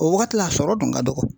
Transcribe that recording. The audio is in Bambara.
O wagati la a sɔrɔ dun ka dɔgɔ.